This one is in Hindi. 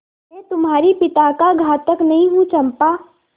मैं तुम्हारे पिता का घातक नहीं हूँ चंपा